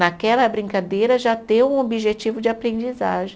Naquela brincadeira já ter um objetivo de aprendizagem.